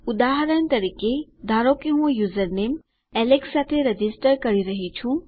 ઉદાહરણ તરીકે ધારો કે હું યુઝરનેમ એલેક્સ સાથે રજીસ્ટર કરી રહ્યી છું